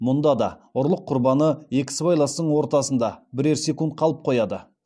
мұнда да ұрлық құрбаны екі сыбайластың ортасында бірер секунд қалып қояды